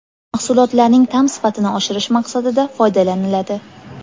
Mahsulotlarning ta’m sifatini oshirish maqsadida foydalaniladi.